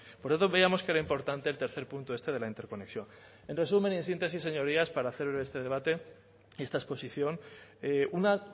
por eso veíamos que era importante el tercer punto este de la interconexión en resumen y en síntesis señorías para hacer breve este debate esta exposición una